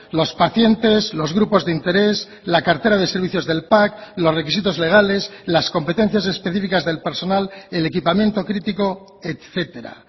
los pacientes los grupos de interés la cartera de servicios del pac los requisitos legales las competencias específicas del personal el equipamiento crítico etcétera